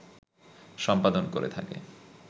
সম্পাদন করে থাকে